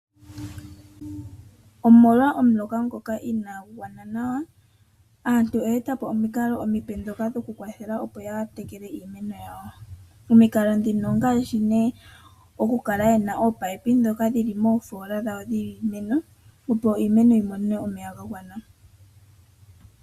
Omolwa omuloka ngoka inagu gwana nawa, aantu oye etapo omikalo omipe dhoka dhoku kwathela opo ya tekele iimeno. Omikalo dhino ongaashi ne oku kala yena opipe dhoka dhili moofola dhawo dhiimeno opo iimeno yimone omeya gagwana.